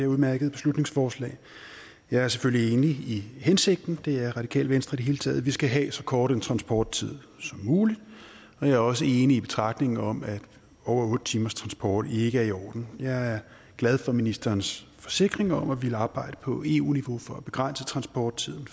udmærkede beslutningsforslag jeg er selvfølgelig enig i hensigten det er radikale venstre i det hele taget vi skal have en så kort transporttid som muligt jeg er også enig i betragtningen om at over otte timers transport ikke er i orden jeg er glad for ministerens forsikringer om at ville arbejde på eu niveau for at begrænse transporttiden